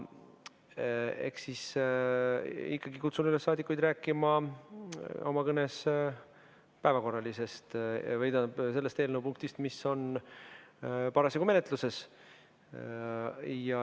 Ma ikkagi kutsun üles saadikuid rääkima oma kõnes päevakorralisest ehk sellest punktist, mis on parasjagu menetluses.